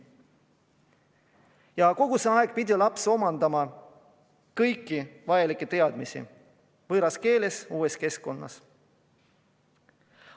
Ja kogu see aeg on laps pidanud omandama kõiki vajalikke teadmisi võõras keeles, uues keskkonnas.